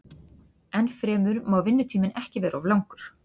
Ennfremur má vinnutíminn ekki vera of langur.